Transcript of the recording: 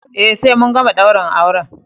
Eh sai mun gama daurin auren.